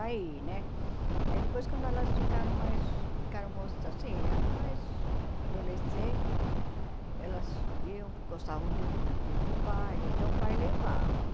Aí né aí depois, quando elas ficaram mais ficaram mo assim ah mais adolescentes, elas iam gostavam de de ir para o baile, então o pai levava.